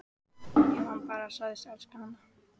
Ef hann bara segðist elska hana: